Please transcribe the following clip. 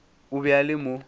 o be a le mo